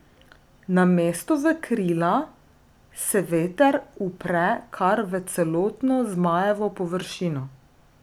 Namesto v krila, se veter upre kar v celotno zmajevo površino.